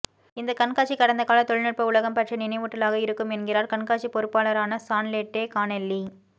இந்த கண்காட்சி கடந்த கால தொழில்நுட்ப உலகம் பற்றிய நினைவூட்டலாக இருக்கும் என்கிறார் கண்காட்சி பொருப்பாளரான சார்லெட்டே கானெல்லி